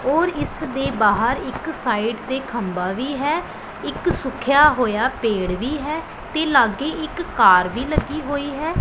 ਔਰ ਇਸ ਦੇ ਬਾਹਰ ਇੱਕ ਸਾਈਡ ਤੇ ਖੰਬਾ ਵੀ ਹੈ ਇੱਕ ਸੁੱਕਿਆ ਹੋਇਆ ਪੇੜ ਵੀ ਹੈ ਤੇ ਲਾਗੇ ਇੱਕ ਕਾਰ ਵੀ ਲੱਗੀ ਹੋਈ ਹੈ।